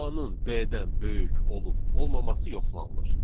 A-nın B-dən böyük olub olmaması yoxlanılır.